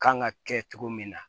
Kan ka kɛ cogo min na